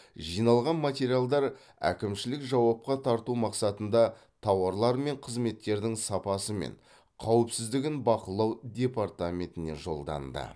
жиналған материалдар әкімшілік жауапқа тарту мақсатында тауарлар мен қызметтердің сапасы мен қауіпсіздігін бақылау департаментіне жолданды